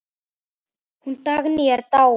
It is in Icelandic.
Hún Dagný er dáin.